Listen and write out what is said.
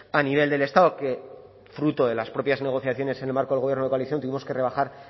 a nivel del estado que fruto de las propias negociaciones en el marco del gobierno de coalición tuvimos que rebajar